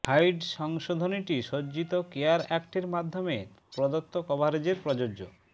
hide সংশোধনীটি সজ্জিত care অ্যাক্টের মাধ্যমে প্রদত্ত কভারেজে প্রযোজ্য